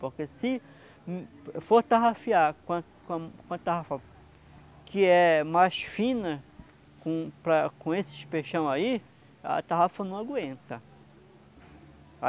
Porque se for tarrafiar com a com a com a tarrafa que é mais fina, com para com esses peixão aí, a tarrafa não aguenta.